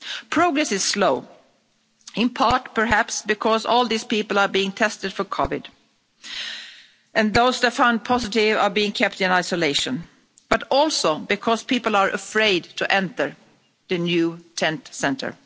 Progress is slow in part perhaps because all these people are being tested for COVID 19 and those that are found positive are being kept in isolation, but also because people are afraid to enter the new tent centre.